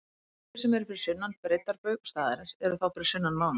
Þeir sem eru fyrir sunnan breiddarbaug staðarins eru þá fyrir sunnan mána.